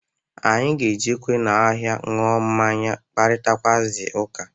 Anyị ga-ejekwa n'ahịa ka anyị ṅụọ mmanya kparitakwụazị ụka.